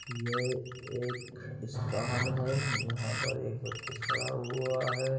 यह एक स्थान है जहाँ पर एक व्यक्ति खड़ा हुआ है।